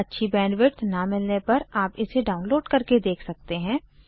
अच्छी बैंडविड्थ न मिलने पर आप इसे डाउनलोड करके देख सकते हैं